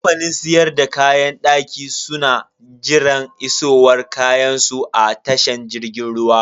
Kamfanin siyar da kayan daki su na jiran isowar kayansu a tashan jirgin ruwa.